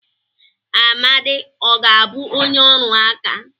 Amadi ọ ga-abụ onye ọrụ aka?